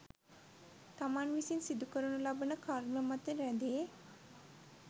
තමන් විසින් සිදුකරනු ලබන කර්ම මත රැඳේ